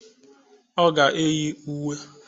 Ọ ga eyi uwe